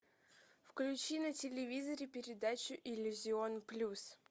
включи на телевизоре передачу иллюзион плюс